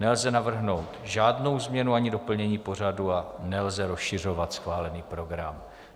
Nelze navrhnout žádnou změnu ani doplnění pořadu a nelze rozšiřovat schválený program.